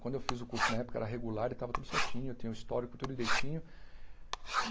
Quando eu fiz o curso, na época, era regular e estava tudo certinho, eu tinha o histórico tudo direitinho.